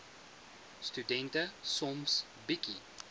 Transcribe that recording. studente soms bietjie